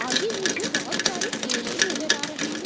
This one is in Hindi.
आगे मुझे बहुत सारे केले नजर आ रहे हैं।